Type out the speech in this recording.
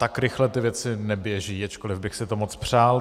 Tak rychle ty věci neběží, ačkoliv bych si to moc přál.